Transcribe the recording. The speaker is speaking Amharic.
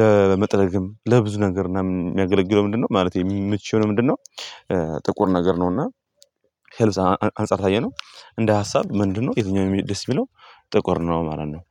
ለመጥረግም ለብዙ ነገር ምናምን የሚያገለግለው ምንድነው ማለቴ የምትችለው ምንድነው? ጥቁር ነገር ነው። እና ከልብስ አንፃር ካየነው እንደ ሀሳብ ምንድነው የትኛውም ደስ የሚለው። ጥቁር ነው ማለት ነው።